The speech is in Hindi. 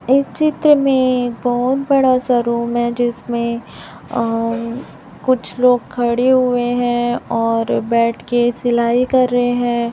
इस चित्र में बहुत बड़ा सा रुम है जिसमें अह कुछ लोग खड़े हुए है और बैठ के सिलाई कर रहे है।